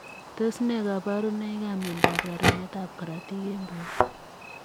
Tos nee kabarunoik ap miondoop rerunet ap korotik eng portoo ,